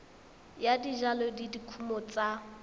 ya dijalo le dikumo tsa